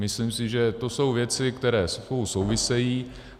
Myslím si, že to jsou věci, které spolu souvisejí.